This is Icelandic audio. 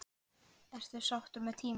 Ertu sáttur með tímann?